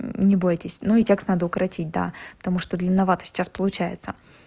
не бойтесь ну текст надо укоротить да потому что длинновато сейчас получается